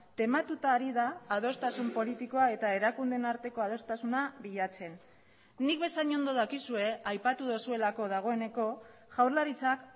tematuta ari da adostasun politikoa eta erakundeen arteko adostasuna bilatzen nik bezain ondo dakizue aipatu duzuelako dagoeneko jaurlaritzak